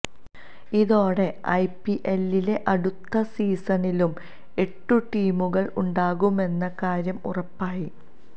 ഇതോടെ ഐപിഎല്ലിലെ അടുത്ത സീസണിലും എട്ടു ടീമുകള് ഉണ്ടാകുമെന്ന കാര്യം ഉറപ്പായി